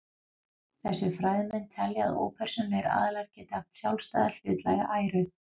Þessir fræðimenn telja að ópersónulegir aðilar geti haft sjálfstæða hlutlæga æru.